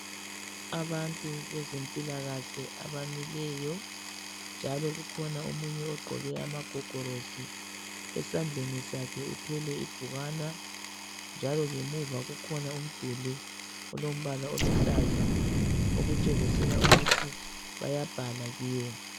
Abantu bezempilakahle abamileyo njalo kukhona omunye ogqoke amagogorosi esandleni sakhe uthwele ibhukwana njalo ngemuva kukhona umduli olombala oluhlaza okutshengisela ukuthi bayabhala kiwo